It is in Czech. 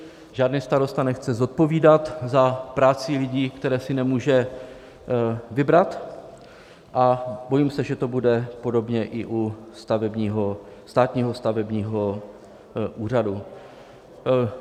Žádný starosta nechce zodpovídat za práci lidí, které si nemůže vybrat, a bojím se, že to bude podobně i u Státního stavebního úřadu.